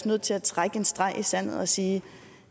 nødt til at trække en streg i sandet og sige at